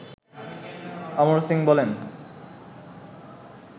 অমর সিং বলেন